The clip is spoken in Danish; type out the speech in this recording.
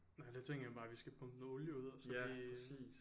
Nej der tænker man bare vi skal pumpe noget olie ud og så vi